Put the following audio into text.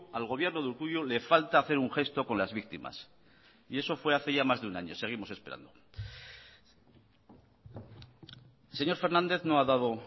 al gobierno de urkullu le falta hacer un gesto con las víctimas y eso fue hace ya más de un año seguimos esperando el señor fernández no ha dado